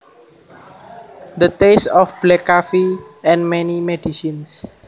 The taste of black coffee and many medicines